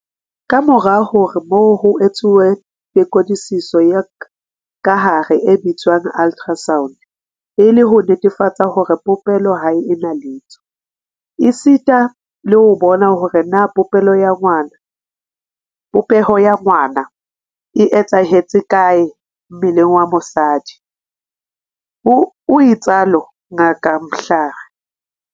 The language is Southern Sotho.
Kamorao ho moo ho etsuwa tekodisiso ya kahare e bitswang ultrasound e le ho netefatsa hore popelo ha e na letho, esita le ho bona hore na popeho ya ngwana e etsahetse kae mmeleng wa mosadi, o itsalo Ngaka Mhlari.